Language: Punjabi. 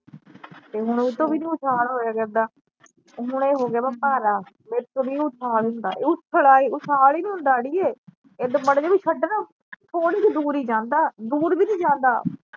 ਤੇ ਹੁਣ ਓਤੋਂ ਵੀ ਨਹੀਂ ਉਛਾਲ ਹੋਇਆ ਜਾਂਦਾ ਹੁਣ ਇਹ ਹੋਗਿਆ ਵਾ ਭਾਰਾ ਮੇਰੇ ਤੋਂ ਨਹੀਂ ਉਛਾਲ ਹੁੰਦਾ ਇਹ ਉੱਛਲ ਉਛਾਲ ਈ ਨਹੀਂ ਹੁੰਦਾ ਅੜੀਏ ਏਦਾਂ ਮਾੜਾ ਜਿਹਾ ਵੀ ਛਡਾ ਨਾ ਥੋੜੀ ਕਾ ਈ ਦੂਰ ਜਾਂਦਾ, ਦੂਰ ਵੀ ਨਹੀਂ ਜਾਂਦਾ